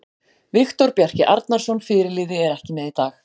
Viktor Bjarki Arnarsson, fyrirliði, er ekki með í dag.